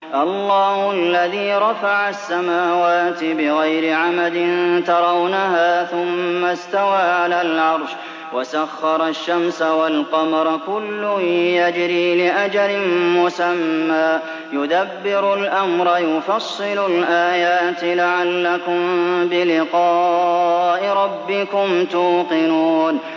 اللَّهُ الَّذِي رَفَعَ السَّمَاوَاتِ بِغَيْرِ عَمَدٍ تَرَوْنَهَا ۖ ثُمَّ اسْتَوَىٰ عَلَى الْعَرْشِ ۖ وَسَخَّرَ الشَّمْسَ وَالْقَمَرَ ۖ كُلٌّ يَجْرِي لِأَجَلٍ مُّسَمًّى ۚ يُدَبِّرُ الْأَمْرَ يُفَصِّلُ الْآيَاتِ لَعَلَّكُم بِلِقَاءِ رَبِّكُمْ تُوقِنُونَ